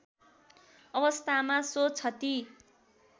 अवस्थामा सो क्षति